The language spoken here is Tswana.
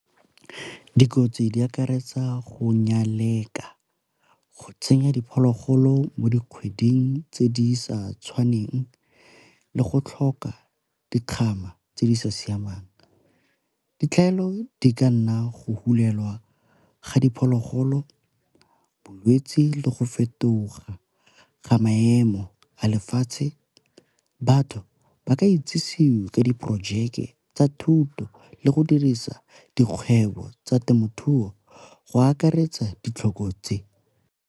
Dikotsi di akaretsa go nyaleka, go tsenya diphologolo mo dikgweding tse di sa tshwaneng, le go tlhoka dikgama tse di sa siamang. Ditlhaelo di ka nna go hulelwa ga diphologolo, bolwetsi, le go fetoga ga maemo a lefatshe. Batho ba ka itsisiwe ka diporojeke tsa thuto le go dirisa dikgwebo tsa temothuo go akaretsa ditlhoko tse.